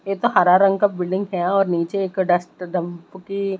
ये तो हरा रंग का बिल्डिंग है और नीचे एक डस्टदंप की--